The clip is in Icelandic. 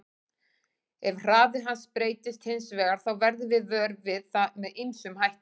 Ef hraði hans breytist hins vegar þá verðum við vör við það með ýmsum hætti.